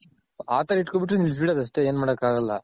ಆ ತರ ಹಿಡ್ಕೋಬಿಟ್ರೆ ನಿಲ್ಸ್ಬೀದಡ್ ಅಷ್ಟೆ ಎನ್ ಮಾಡಕ್ ಆಗಲ್ಲ ,